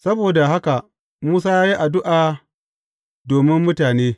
Saboda haka Musa ya yi addu’a domin mutane.